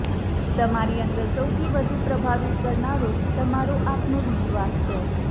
તમારી અંદર સૌથી વધુ પ્રભાવિત કરનારો તમારો આત્મવિશ્વાસ છે